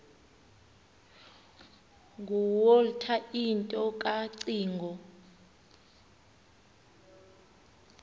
nguwalter into kacingo